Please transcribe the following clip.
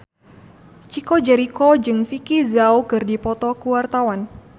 Chico Jericho jeung Vicki Zao keur dipoto ku wartawan